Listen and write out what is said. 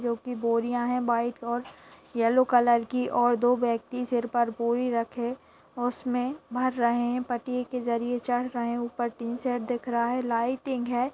जो की बोरियाँ है वाइट और येलो कलर की और दो व्यक्ति सिर पर बोरी रखे उसमें भर रहे हैं पटिये के जरिए चढ़ रहे हैं ऊपर टिन सेट दिख रहा है लाइटिंग है।